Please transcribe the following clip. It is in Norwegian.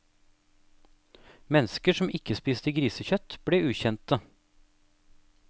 Mennesker som ikke spiste grisekjøtt ble ukjente.